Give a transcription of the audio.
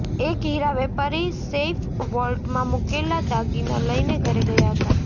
એક હિરા વેપારી સેઇફ વોલ્ટમાં મૂકેલા દાગીના લઇને ઘરે ગયા હતા